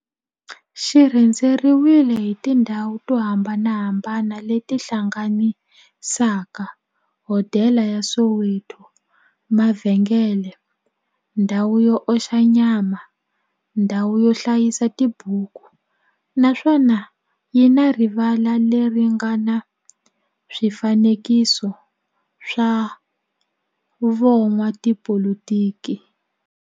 xi rhendzeriwile hi tindhawu to hambanahambana le ti hlanganisaka, hodela ya Soweto, mavhengele, ndhawu yo oxa nyama, ndhawu yo hlayisa tibuku, naswona yi na rivala le ri nga na swifanekiso swa vo n'watipolitiki.